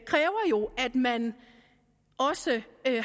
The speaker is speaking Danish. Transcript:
man også